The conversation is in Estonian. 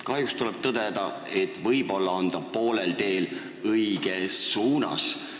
Kahjuks tuleb tõdeda, et võib-olla on ta poolel teel õiges suunas.